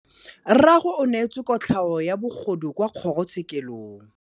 Rragwe o neetswe kotlhaô ya bogodu kwa kgoro tshêkêlông.